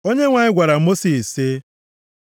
Onyenwe anyị gwara Mosis, sị,